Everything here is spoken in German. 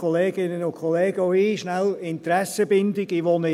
Auch von mir schnell die Interessenbindungen: